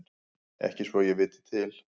Ekki svo ég viti til.